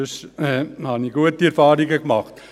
Ansonsten habe ich gute Erfahrungen gemacht.